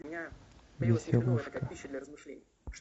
веселушка